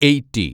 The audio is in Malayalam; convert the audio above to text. എയ്റ്റി